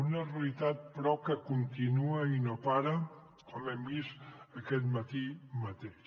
una realitat però que continua i no para com hem vist aquest matí mateix